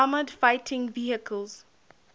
armoured fighting vehicles